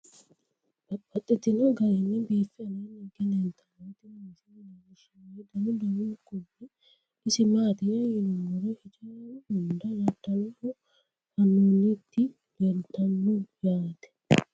Babaxxittinno garinni biiffe aleenni hige leelittannotti tinni misile lelishshanori danu danunkunni isi maattiya yinummoro hijjaru hunda dadalloho fanoonnitti leelittanno yaatte